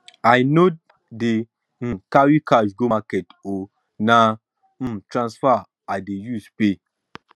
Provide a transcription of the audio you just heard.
i no dey um carry cash go market o na um transfer um i dey use pay